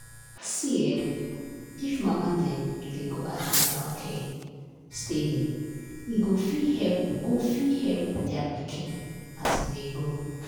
see[um]if mama dem dey go an ten atal care steady e go fit help go fit help their pikin as e dey grow.